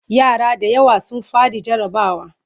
Yara da yawa sun faɗi jarrabawa.